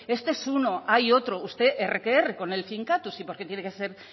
este es uno hay otro usted erre que erre con el finkatuz y por qué tiene que ser